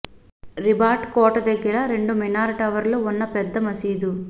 రిబాట్ కోట దగ్గర రెండు మినార్ టవర్లు ఉన్న పెద్ద మసీదు